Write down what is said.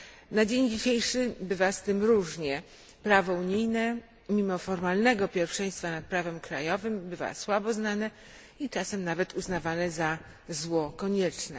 Na dzień dzisiejszy bywa z tym różnie, prawo unijne mimo formalnego pierwszeństwa nad prawem krajowym bywa słabo znane i czasem nawet uznawane za zło konieczne.